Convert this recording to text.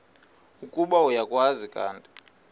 ukuba uyakwazi kanti